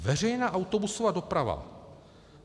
Veřejná autobusová doprava.